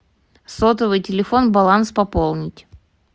сотовый телефон баланс пополнить